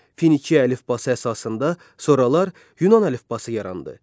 Finiya əlifbası əsasında sonralar Yunan əlifbası yarandı.